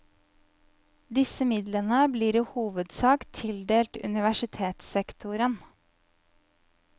Desse midlane blir i hovudsak tildelt universitetssektoren.